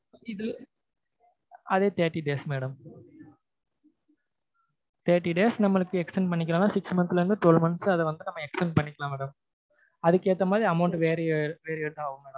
அதே thirty days madam thirty days நமக்கு extent பண்ணிகிறதுன்னா six months ல இருந்து twelve months ஆ நாம் அதை extent பண்ணிக்கலாம் madam அதுக்கு ஏத்தா மாதிரி amount Variet ஆகும்